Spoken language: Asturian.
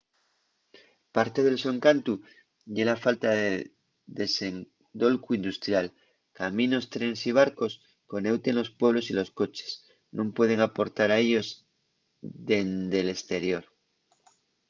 parte del so encantu ye la falta de desendolcu industrial. caminos trenes y barcos coneuten los pueblos y los coches nun pueden aportar a ellos dende l’esterior